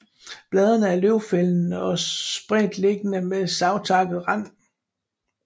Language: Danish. Bladene er løvfældende og spredtstillede med savtakket rand